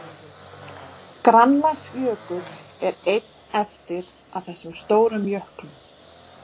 Grænlandsjökull er einn eftir af þessum stóru jöklum.